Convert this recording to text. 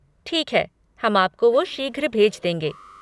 ठीक है, हम आपको वो शीघ्र भेज देंगे।